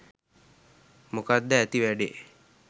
මොකක්ද ඇති වැඩේ?